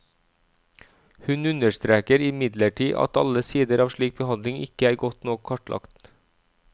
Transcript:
Hun understreker imidlertid at alle sider av slik behandling ikke er godt nok kartlagt.